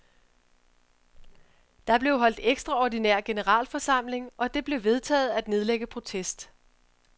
Der blev holdt ekstraordinær generalforsamling, og det blev vedtaget at nedlægge protest.